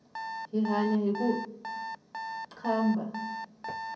hi hanya hiku qambha